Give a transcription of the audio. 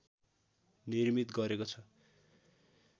निर्मित गरेको छ